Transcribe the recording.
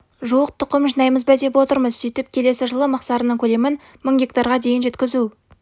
жуық тұқым жинаймыз ба деп отырмыз сөйтіп келесі жылы мақсарының көлемін мың гектарға дейін жеткізу